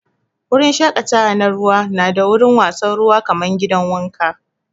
Wurin shakatawa na ruwa na da wurin wasan ruwa kaman gidan wanka.